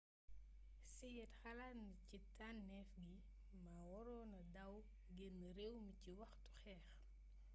hsied xalaatna ni ci tannééf gi ma waronna daw génn réew mi ci waxtu xeex